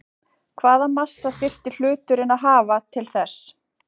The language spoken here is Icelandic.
Hvaða massa þyrfti hluturinn að hafa til þess?